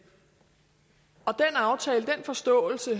aftale den forståelse